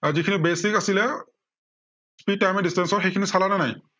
যি খিনি basic আছিলে speed time and distance সেইখিনি চালা নে নাই?